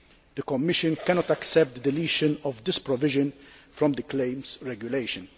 The Commission cannot accept deletion of this provision from the Claims Regulation.